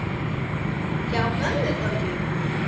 Hjá mömmu gömlu?!